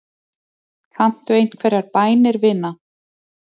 Kanntu einhverjar bænir, vina?